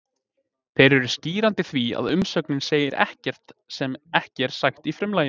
Þeir eru skýrandi því að umsögnin segir ekkert sem ekki er sagt í frumlaginu.